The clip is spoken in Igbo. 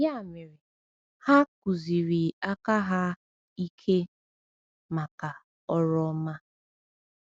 Ya mere, ha kụziri aka ha ike maka ọrụ ọma.”